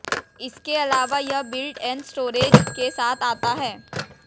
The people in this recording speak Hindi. इसके अलावा यह बिल्ट इन स्टोरेज के साथ आता है